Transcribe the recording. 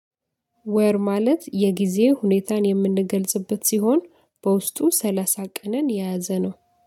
ወር ማለት የጊዜ ሁኔታን የምንገልጽበት ሲሆን በውስጡ ሰላሳ ቀንን የያዘ ነው።